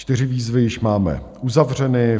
Čtyři výzvy již máme uzavřeny.